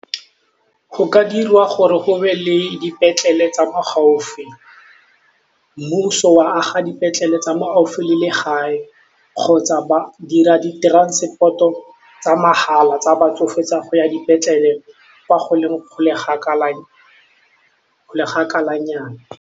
Go ka dirwa gore go be le dipetlele tsa mo gaufi, mmuso wa aga dipetlele tsa mo gaufi le legae kgotsa ba dira di transport-o tsa mahala tsa batsofe tsa go ya dipetlele kwa go leng kgakala nyana.